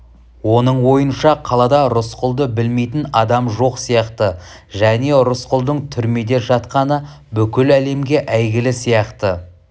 оның ойынша қалада рысқұлды білмейтін адам жоқ сияқты және рысқұлдың түрмеде жатқаны бүкіл әлемге әйгілі сияқты